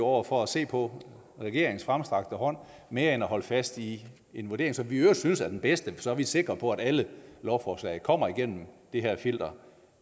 over for at se på regeringens fremstrakte hånd mere end at holde fast i en vurdering som vi i øvrigt synes er den bedste for så er vi sikre på at alle lovforslag kommer igennem det her filter